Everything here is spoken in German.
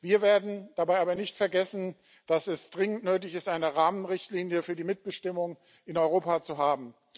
Wir werden dabei aber nicht vergessen, dass es dringend nötig ist, eine Rahmenrichtlinie für die Mitbestimmung in Europa zu haben.